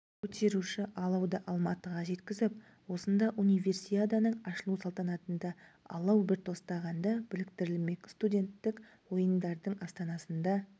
көтеруші алауды алматыға жеткізіп осында универсиаданың ашылу салтанатында алау бір тостағанда біріктірілмек студенттік ойындардың астанасында